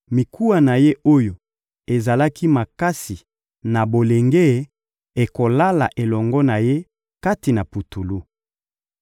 mikuwa na ye oyo ezalaki makasi na bolenge ekolala elongo na ye kati na putulu.